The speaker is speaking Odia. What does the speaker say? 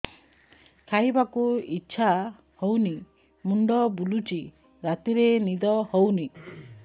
ଖାଇବାକୁ ଇଛା ହଉନି ମୁଣ୍ଡ ବୁଲୁଚି ରାତିରେ ନିଦ ହଉନି